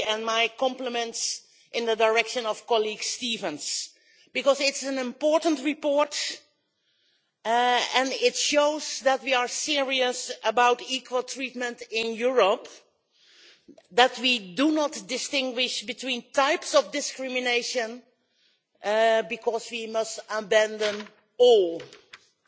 My compliments to colleague Stevens because it is an important report and it shows that we are serious about equal treatment in Europe, that we do not distinguish between types of discrimination because we must abandon all types.